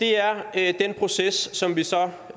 er den proces som vi så